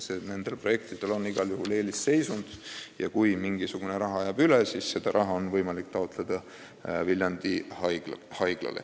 Need projektid on igal juhul eelisseisundis ja kui mingisugune summa jääb üle, siis on seda võimalik taotleda Viljandi Haiglal.